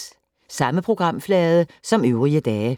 Samme programflade som øvrige dage